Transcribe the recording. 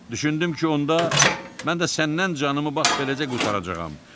Düşündüm ki, onda mən də səndən canımı bax beləcə qurtaracağam.